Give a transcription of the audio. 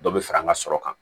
Dɔ bɛ fara an ka sɔrɔ kan